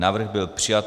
Návrh byl přijat.